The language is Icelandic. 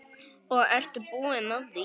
Og ertu búin að því?